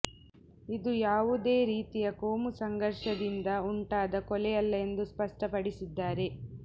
ಇದು ಯಾವೂದೇ ರೀತಿಯ ಕೋಮು ಸಂಘರ್ಷದಿಂದ ಉಂಟಾದ ಕೊಲೆಯಲ್ಲ ಎಂದು ಸ್ಪಷ್ಟಪಡಿಸಿದ್ದಾರೆ